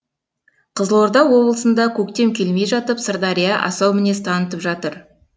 қызылорда облысында көктем келмей жатып сырдария асау мінез танытып жатыр